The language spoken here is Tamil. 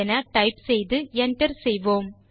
என டைப் செய்து enter செய்வோம்